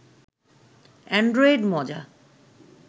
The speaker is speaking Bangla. এন্ড্রয়েড মজা